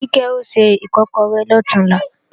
Kíkẹ́ o se Ìkọ́kọrẹ́ lọ̀túnla